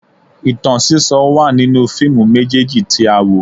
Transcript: Ìtàn sísọ wà nínú fíìmù méjèèjì tí a wò